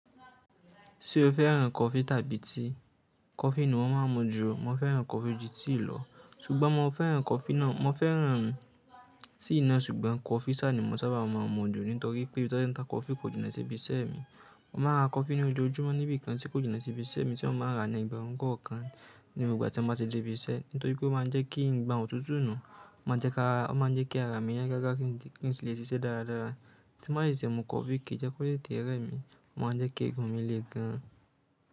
Ṣé o fẹ́ ràn coffee tàbí tea? Coffee ni mo máa ń mu jù ọ. Mo fẹ́ràn coffee ju tea lọ, ṣùgbọ́n mo fẹ́ ràn coffee náà, mo fẹ́ ràn tea náà ṣùgbọ́n coffee sá ni mo sábà máa ń mu jù nítorí pé tí a bá tá coffee kò jiná síbi iṣẹ́ mi. Mo máa ra coffee ni ojojúmọ́ níbi kan tí kò jiná síbi iṣẹ́ mi tí mo máa rà ni egberun kan kan nígbà tí a bá ti dé ibi iṣẹ́ nítorí pé ó máa ń jẹ́ kí ń gba òtútù nù. Ó máa ń jẹ́ ká, ó máa ń jẹ́ kí ara mi yíya gágá kí n lè ṣiṣẹ́ dáadáa. Tí bá de ti mu coffee kì í jẹ́ kó tete rẹ mí, ó máa ń jẹ́ kí eegun mi le gan.